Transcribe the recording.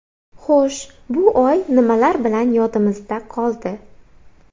Xo‘sh, bu oy nimalar bilan yodimizda qoldi ?